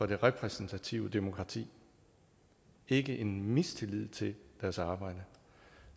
det repræsentative demokrati ikke en mistillid til deres arbejde